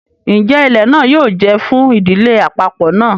Njẹ ilẹ náà yóò jẹ fún ìdílé àpapọ náà?